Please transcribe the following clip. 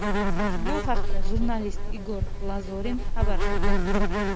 Bu haqda jurnalist Igor Lazorin xabar qilmoqda .